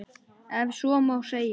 Ef svo má segja.